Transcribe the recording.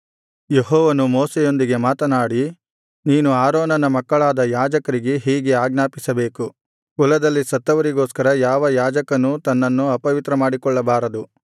ಯೆಹೋವನು ಮೋಶೆಯೊಂದಿಗೆ ಮಾತನಾಡಿ ನೀನು ಆರೋನನ ಮಕ್ಕಳಾದ ಯಾಜಕರಿಗೆ ಹೀಗೆ ಆಜ್ಞಾಪಿಸಬೇಕು ಕುಲದಲ್ಲಿ ಸತ್ತವರಿಗೋಸ್ಕರ ಯಾವ ಯಾಜಕನೂ ತನ್ನನ್ನು ಅಪವಿತ್ರ ಮಾಡಿಕೊಳ್ಳಬಾರದು